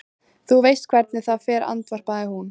Þú veist hvernig það fer, andvarpaði hún.